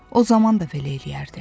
O zaman da belə eləyərdi.